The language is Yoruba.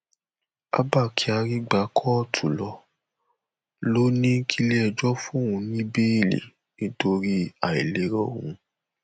abba kyari gbá kóòtù lọ ó lọ ó ní kílẹẹjọ fóun ní bẹẹlì nítorí àìlera òun